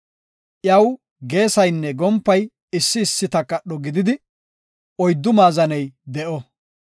Iyaw geesaynne gompay issi issi takadho gididi oyddu maazaney de7o.